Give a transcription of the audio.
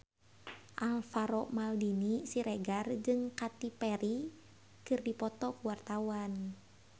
Alvaro Maldini Siregar jeung Katy Perry keur dipoto ku wartawan